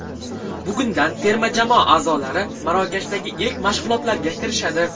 Bugundan terma jamoa a’zolari Marokashdagi ilk mashg‘ulotlarga kirishadi.